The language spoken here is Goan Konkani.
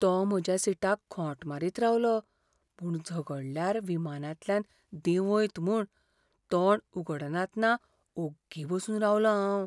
तो म्हज्या सीटाक खोंट मारीत रावलो, पूण झगडल्यार विमानांतल्यान देंवयत म्हूण तोंड उगडनातना ओग्गी बसून रावलों हांव.